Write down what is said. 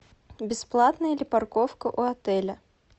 бесплатная ли парковка у отеля